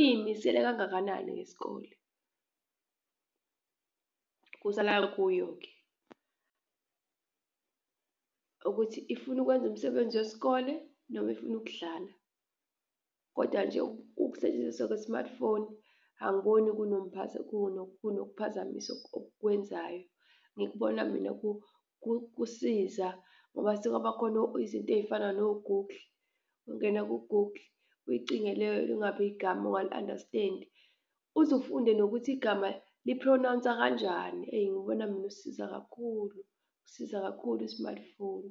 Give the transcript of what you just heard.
iyimisele kangakanani ngesikole, kusala kuyo-ke ukuthi ifuna ukwenza umsebenzi wesikole noma ifuna ukudlala kodwa nje ukusetshenziswa kwe-smartphone angiboni kunophazamisa okukwenzayo. Ngikubona mina kusiza ngoba sekwabakhona izinto ezifana no-Google, ungena ku-Google uyicinge leyo nto noma igama ongali-understand uzufunde nokuthi igama li-pronounce-a kanjani. Eyi ngibona mina usiza kakhulu usiza kakhulu i-smartphone.